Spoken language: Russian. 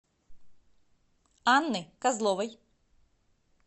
анны козловой